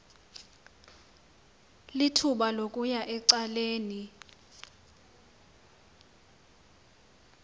lithuba lokuya ecaleni